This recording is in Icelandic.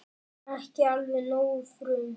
Ekki alveg nógu frum